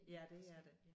Ja det er det